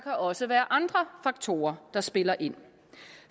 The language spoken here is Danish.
også være andre faktorer der spiller ind